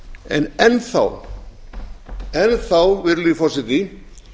en enn þá virðulegi forseti